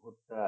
ভুট্টা